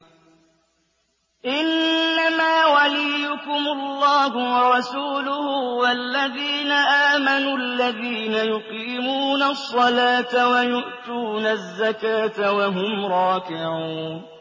إِنَّمَا وَلِيُّكُمُ اللَّهُ وَرَسُولُهُ وَالَّذِينَ آمَنُوا الَّذِينَ يُقِيمُونَ الصَّلَاةَ وَيُؤْتُونَ الزَّكَاةَ وَهُمْ رَاكِعُونَ